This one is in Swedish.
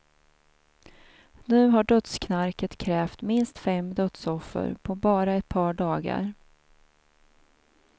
Nu har dödsknarket krävt minst fem dödsoffer på bara ett par dagar.